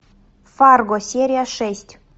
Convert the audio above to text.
фарго серия шесть